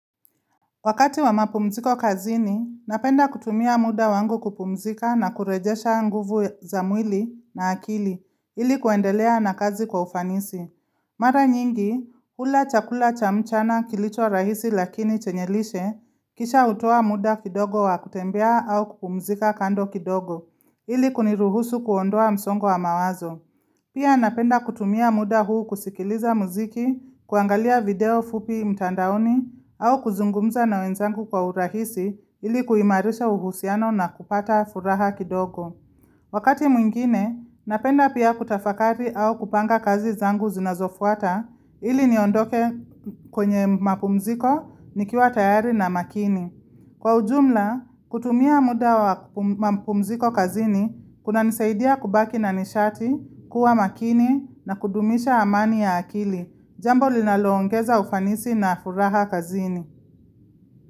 Wakati wa mapumziko kazini, napenda kutumia muda wangu kupumzika na kurejesha nguvu za mwili na akili, ili kuendelea na kazi kwa ufanisi. Mara nyingi, hula chakula cha mchana kilicho rahisi lakini chenye lishe, kisha hutoa muda kidogo wa kutembea au kupumzika kando kidogo, ili kuniruhusu kuondoa msongo wa mawazo. Pia napenda kutumia muda huu kusikiliza muziki, kuangalia video fupi mtandaoni au kuzungumza na wenzangu kwa urahisi ili kuimarisha uhusiano na kupata furaha kidogo. Wakati mwingine, napenda pia kutafakari au kupanga kazi zangu zinazofuata ili niondoke kwenye mapumziko, nikiwa tayari na makini. Kwa ujumla, kutumia muda wa mapumziko kazini, kunanisaidia kubaki na nishati, kuwa makini na kudumisha amani ya akili. Jambo linaloongeza ufanisi na furaha kazini.